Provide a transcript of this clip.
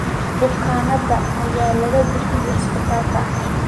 Bukaanada ayaa laga bixiyay isbitaalka.